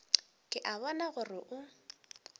ke a bona gore o